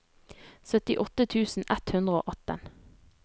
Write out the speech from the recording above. syttiåtte tusen ett hundre og atten